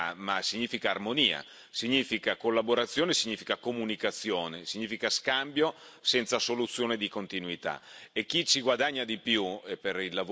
È una brutta parola interoperabilità, ma significa armonia, significa collaborazione, significa comunicazione, significa scambio senza soluzione di continuità.